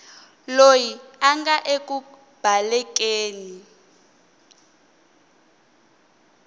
loyi a nga eku balekeni